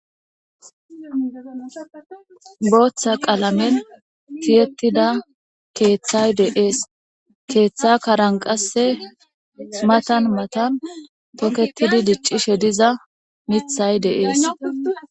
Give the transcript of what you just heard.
booththa qalamen tiyettida keeththay deees keeththa karanqasse smatan matan toketidi diccishe diza mithay deees